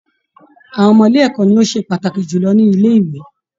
Àwọn ọmọ-ilẹ̀ ẹ̀kọ́ ni ó ṣe pàtàkì jù lọ ní ilẹ́ - ìwé.